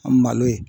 An malo ye